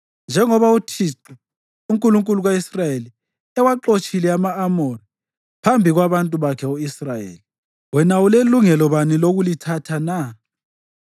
Njengoba uThixo, uNkulunkulu ka-Israyeli, ewaxotshile ama-Amori phambi kwabantu bakhe u-Israyeli, wena ulelungelo bani lokulithatha na?